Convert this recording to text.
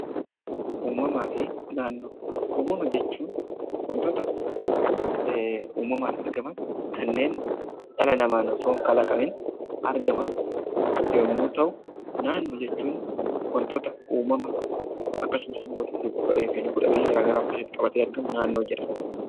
Uumamaa fi naannoo. Uumama jechuun wantota uumamaan argaman kanneen dhala namaan osoon kalaqamiin argaman yommuu ta'u naannoo jechuun wantota uumama akkasumas immoo lubbu-qabeeyyiif lubbu-dhabeeyyii garaa garaa of keessatti qabatee argamu naannoo jedhama.